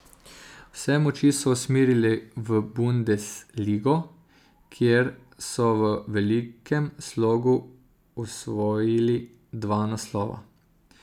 Vse moči so usmerili v Bundesligo, kjer so v velikem slogu osvojili dva naslova.